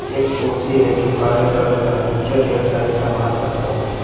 एक कुर्सी है जो काले कलर का है नीचे ढेर सारे सामान रखे हुए हैं।